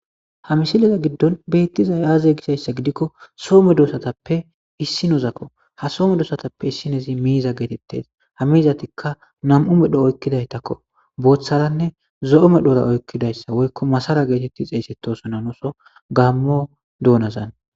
Ha misiliza giddon beettizay aaze gishayssa gidikko soome duosatappe issi nozakko ha soome doosatappe issinezi miiza geetettes ha miizatikka nam'u medho oykkidaytakko booththaranne zo7omedhora oykkidayssa woykko masara geetetti xeeysetosonanoso gammo doonazan.